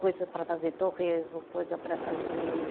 Coisa para fazer torresmo, coisa para fazer